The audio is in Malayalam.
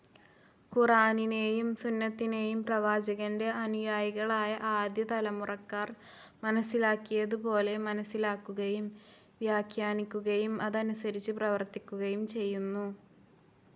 ഖുറാനിനെയും സുന്നതിനെയും പ്രവാചകൻ്റെ അനുയായികളായ ആദ്യതലമുറക്കാർ മനസ്സിലാക്കിയതുപോലെ മനസ്സിലാക്കുകയും വ്യാഖ്യാനിക്കുകയും അതനുസരിച്ച് പ്രവർത്തിക്കുകയും ചെയ്യുന്നു.